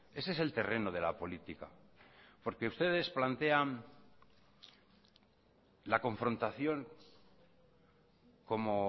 ese es el terreno de la política porque ustedes plantean la confrontación como